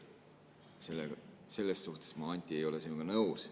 Selles suhtes ma, Anti, ei ole sinuga nõus.